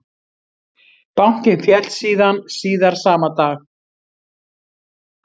Bankinn féll síðan síðar sama dag